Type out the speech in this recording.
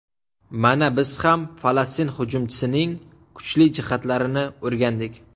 Mana biz ham Falastin hujumchisining kuchli jihatlarini o‘rgandik.